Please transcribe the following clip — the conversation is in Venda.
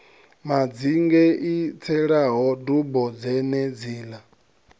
madzinge i tselaho dubo dzenedziḽa